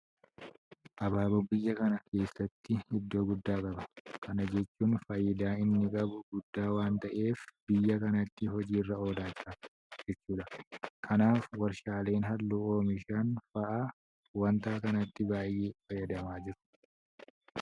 Abaaboon biyya kana keessatti iddoo guddaa qaba. Kana jechuun faayidaan inni qabu guddaa waanta ta'eef biyya kanatti hojii irra oolaa jira jechuudha. Kanaaf warshaaleen halluu oomishan fa'aa waanta kanatti baay'ee fayyadamaa jiru.